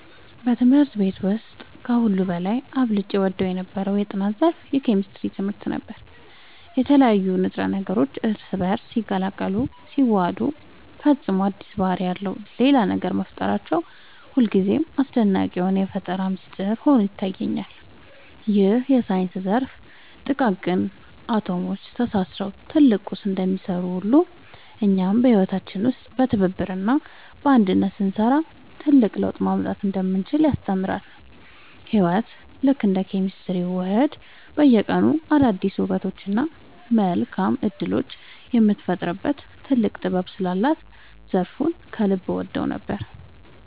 በትምህርት ቤት ውስጥ ከሁሉ በላይ አብልጬ እወደው የነበረው የጥናት ዘርፍ የኬሚስትሪ ትምህርት ነበር። የተለያዩ ንጥረ ነገሮች እርስ በእርስ ሲቀላቀሉና ሲዋሃዱ ፈጽሞ አዲስ ባህሪ ያለው ሌላ ነገር መፍጠራቸው ሁልጊዜም አስደናቂ የሆነ የፈጠራ ሚስጥር ሆኖ ይታየኛል። ይህ የሳይንስ ዘርፍ ጥቃቅን አቶሞች ተሳስረው ትልቅ ቁስ እንደሚሰሩ ሁሉ፣ እኛም በህይወታችን ውስጥ በትብብርና በአንድነት ስንሰራ ትልቅ ለውጥ ማምጣት እንደምንችል ያስተምረናል። ህይወት ልክ እንደ ኬሚካላዊ ውህደት በየቀኑ አዳዲስ ውበቶችንና መልካም እድሎችን የምትፈጥርበት ጥልቅ ጥበብ ስላላት ዘርፉን ከልብ እወደው ነበር።